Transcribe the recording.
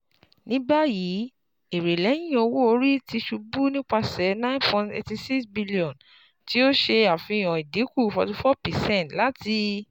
Nibayi, ere lẹhin owo-ori ti ṣubu nipasẹ nine point eighty six billion, ti o ṣe afihan idinku forty four percent lati